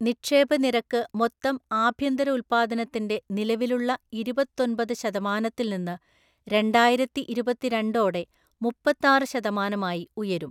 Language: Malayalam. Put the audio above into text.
നിക്ഷേപ നിരക്ക് മൊത്തം ആഭ്യന്തര ഉല്പ്പാദനത്തിന്റെ നിലവിലുള്ള ഇരുപത്തോന്‍പത് ശതമാനത്തില്‍ നിന്ന്, രണ്ടായിരത്തിഇരുപത്തിരണ്ട് ഓടെ മുപ്പത്താറ് ശതമാനമായി ഉയരും.